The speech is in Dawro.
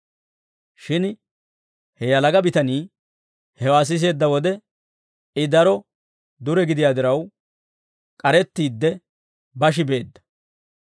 Shin he yalaga bitanii hewaa siseedda wode, I daro dure gidiyaa diraw, k'arettiidde bashi beedda.